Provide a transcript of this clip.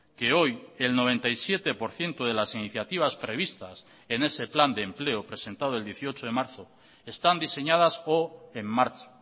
que hoy el noventa y siete por ciento de las iniciativas previstas en ese plan de empleo presentado el dieciocho de marzo están diseñadas o en marcha